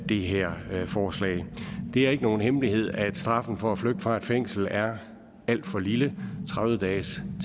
det her forslag det er ikke nogen hemmelighed at straffen for at flygte fra et fængsel er alt for lille tredive dages